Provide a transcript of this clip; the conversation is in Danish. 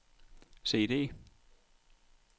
CD